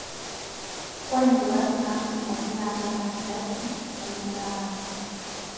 Ore nduat natolimuoki naati ena kardasi nemeiriamari